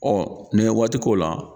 nin ye waati k'o la